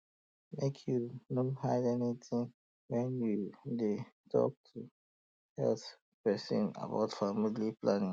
um make you no hide anything when you dey talk to um health person about family um planning